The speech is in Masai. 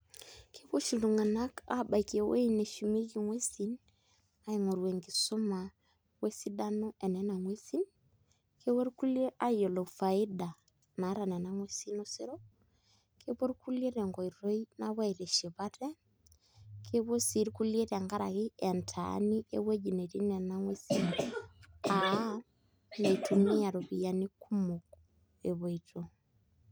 Kepuo oshi iltung'anak aabaiki ewueji neshumieki ng'uesin aing'oru enkisuma o esidano e nena nguesin kepuo rkulie aing'oru faida naata nena nguesin osero kepuo irkulie tenkoitoi napuo aitiship ate kepuo sii irkulie tenkaraki entaani ewueji netii nena nguesi aa mitumia iropiyiani kumok epoito.